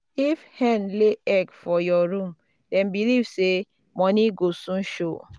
if hen lay egg for your room dem believe say money go soon show.